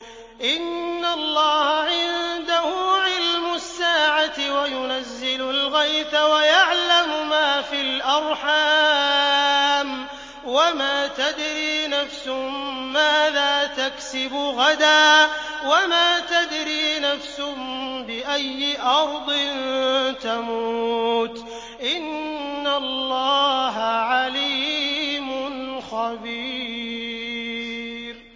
إِنَّ اللَّهَ عِندَهُ عِلْمُ السَّاعَةِ وَيُنَزِّلُ الْغَيْثَ وَيَعْلَمُ مَا فِي الْأَرْحَامِ ۖ وَمَا تَدْرِي نَفْسٌ مَّاذَا تَكْسِبُ غَدًا ۖ وَمَا تَدْرِي نَفْسٌ بِأَيِّ أَرْضٍ تَمُوتُ ۚ إِنَّ اللَّهَ عَلِيمٌ خَبِيرٌ